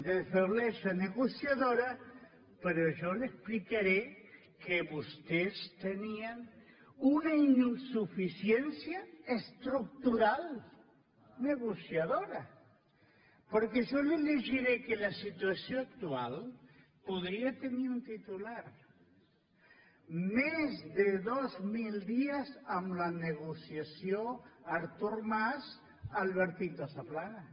de feblesa negociadora però jo li explicaré que vostès tenien una insuficiència estructural negociadora perquè jo li llegiré que la situació actual podia tenir un titular més de dos mil dies amb la negociació artur mas albertito zaplana